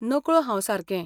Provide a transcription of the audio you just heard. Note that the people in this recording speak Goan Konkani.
नकळो हांव सारकें.